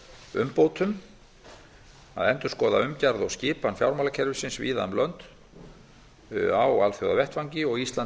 umbótum að endurskoða umgjörð og skipan fjármálakerfisins víða um lönd á alþjóðavettvangi og ísland